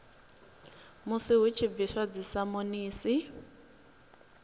musi hu tshi bviswa dzisamonisi